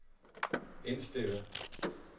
indstillet